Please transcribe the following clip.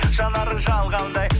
жанары жалғандай